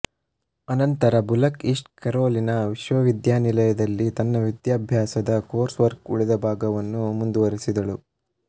ಅನಂತರ Bullock East Carolina ವಿಶ್ವವಿದ್ಯಾನಿಲಯ ದಲ್ಲಿ ತನ್ನ ವಿದ್ಯಾಭ್ಯಾಸದ ಕೋರ್ಸ್ ವರ್ಕ್ ಉಳಿದ ಭಾಗವನ್ನು ಮುಗಿಸಿದಳು